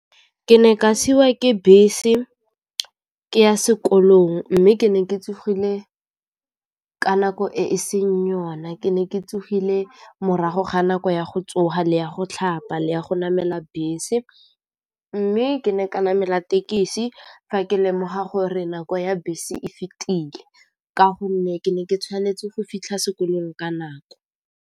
Ke ne ka siwa ke bese ke ya sekolong mme ke ne ke tsogile ka nako e e seng yona, ke ne ke tsogile morago ga nako ya go tsoga, le ya go tlhapa, le ya go namela bese, mme ke ne ka namela tekesi fa ke lemoga gore nako ya bese e fetile ka gonne ke ne ke tshwanetse go fitlha sekolong ka nako.